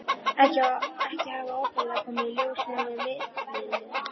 Ekki hafa opinberlega komið í ljós neinir milliliðir.